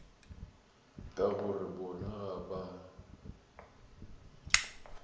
ka gore bona ga ba